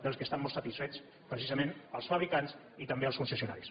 dels quals estan molt satisfets precisament els fabricants i també els concessionaris